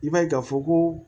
I b'a ye k'a fɔ ko